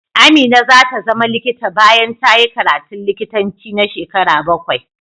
Amina za ta zama likita bayan ta yi karatun likitanci na shekaru bakwai.